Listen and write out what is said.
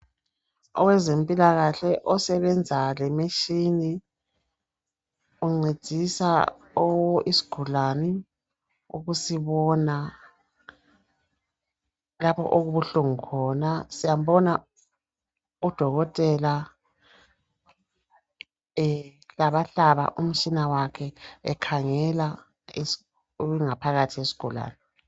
Owezemphilakahle osebenza lemitshini, uncedisa isigulani, ukusibona lapho okubuhlungu khona. Siyambona odokotela ehlabahlaba umtshina wakhe ekhangela ingaphathi yesigulane.